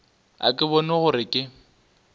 ga ke bone gore ke